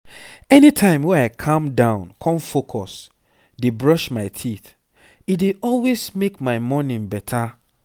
anytime wey i calm down con focus dey brush my teeth e dey always make my morning better.